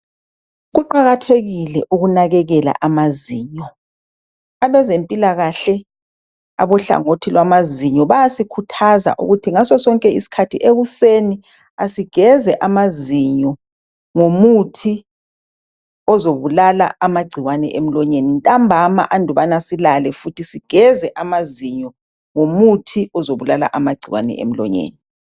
Kuqakathekile ukunakekela amazinyo. Abezempilakahle abohlangothi lwamazinyo bayasikhuthaza ukuthi ngaso sonke isikhathi ekuseni asigeze amazinyo ngomuthi ozobulala amagcikwane emlonyeni. Ntambama andubana silale futhi sigeze amazinyo ngomuthi ozabulala amagcikwane emlonyeni.